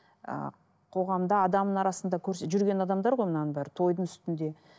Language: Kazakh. ы қоғамда адамның арасында көрсе жүрген адамдар ғой мынаның бәрі тойдың үстінде